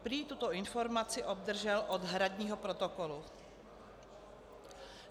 Prý tuto informaci obdržel od hradního protokolu.